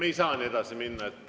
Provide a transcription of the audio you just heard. Me ei saa nii edasi minna.